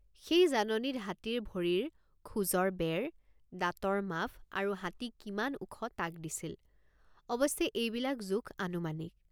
সেই জাননীত হাতীৰ ভৰিৰ খোজৰ বেৰদাঁতৰ মাফ আৰু হাতী কিমান ওখ তাক দিছিল অৱশ্যে এইবিলাক জোখ আনুমানিক।